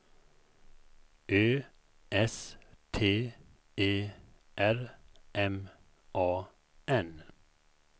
Ö S T E R M A N